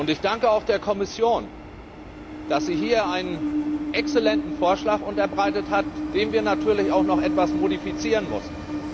Ich danke auch der Kommission, dass sie hier einen exzellenten Vorschlag unterbreitet hat, den wir natürlich auch noch etwas modifizieren mussten.